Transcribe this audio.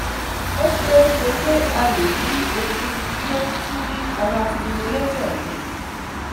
O ṣee ṣe pe a le ni okun ti o tu ni ara Stimulator mi